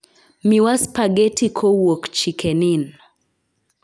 miwa spageti kowuk chiken inn